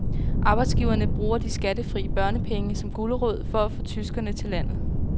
Arbejdsgiverne bruger de skattefri børnepenge som gulerod for at få tyskere til landet.